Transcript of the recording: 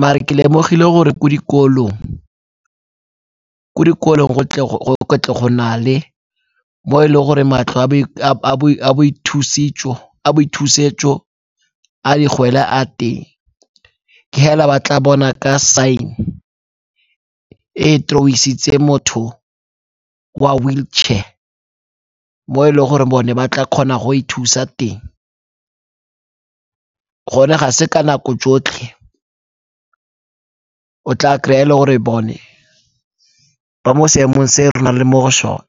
Mare ke lemogile gore ko dikolong, ko dikolong go na le mo e le gore matlo a boithusetso a digwele a teng. Ke hela ba tla bona ka sign-e e draw-isitse motho wa wheel chair mo e leng gore bone ba tla kgona go ithusa teng. Gone ga se ka nako tsotlhe o tla kry-a e le gore bone ba mo seemong se e re na re le mo go sone.